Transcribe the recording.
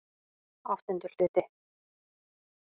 VIII Hluti